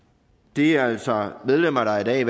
det er altså medlemmer der i dag